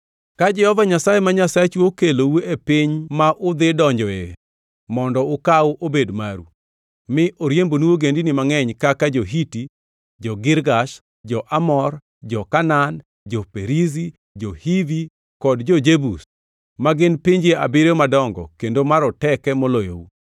Ka Jehova Nyasaye ma Nyasachu okelou e piny ma udhi donjoe mondo ukaw obed maru, mi oriembonu ogendini mangʼeny kaka jo-Hiti, jo-Girgash, jo-Amor, jo-Kanaan, jo-Perizi, jo-Hivi kod jo-Jebus, ma gin pinje abiriyo madongo kendo maroteke moloyou.